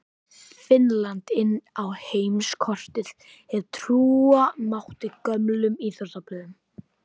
Finnland inn á heimskortið ef trúa mátti gömlum íþróttablöðum.